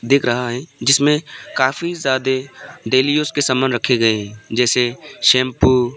दिख रहा है जिसमें काफी ज्यादे डेली यूज के सामान रखे गए हैं जैसे शैंपू ।